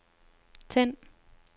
tænd